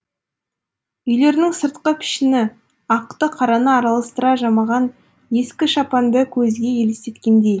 үйлерінің сыртқы пішіні ақты қараны араластыра жамаған ескі шапанды көзге елестеткендей